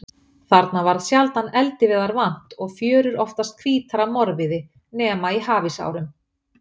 Þarna varð sjaldan eldiviðar vant og fjörur oftast hvítar af morviði, nema í hafísárum.